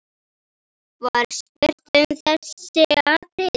Var spurt um þessi atriði.